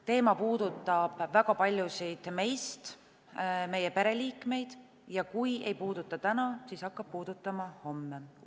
Teema puudutab väga paljusid meist, meie pereliikmeid ja kui ei puuduta täna, siis hakkab puudutama homme.